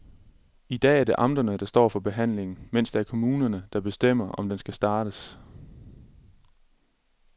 I dag er det amterne, der står for behandlingen, mens det er kommunerne, der bestemmer, om den skal startes.